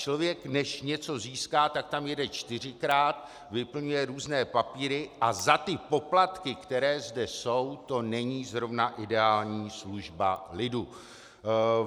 Člověk než něco získá, tak tam jede čtyřikrát, vyplňuje různé papíry a za ty poplatky, které zde jsou, to není zrovna ideální služba lidu.